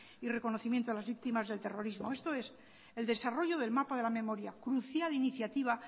y reconocimiento a las víctimas del terrorismo esto es el desarrollo del mapa de la memoria crucial iniciativa